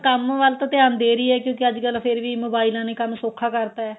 ਕੰਮ ਵੱਲ ਤਾ ਧਿਆਨ ਦੇ ਰਹੀ ਏ ਕਿਉਂਕਿ ਅੱਜਕਲ ਫੇਰ ਵੀ ਮੋਬਾਇਲਾਂ ਨੇ ਕੰਮ ਸੋਖਾ ਕਰਤਾ